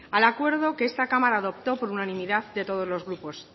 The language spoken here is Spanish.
al acuerdo que esta cámara adoptó por unanimidad de todos los grupos